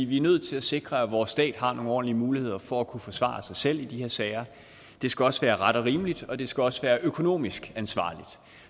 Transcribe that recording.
vi er nødt til at sikre at vores stat har nogle ordentlige muligheder for at kunne forsvare sig selv i de her sager det skal også være ret og rimeligt og det skal også være økonomisk ansvarligt